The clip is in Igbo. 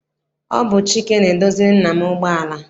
Ọ bụ Chike na-edoziri nna m ụgbọala.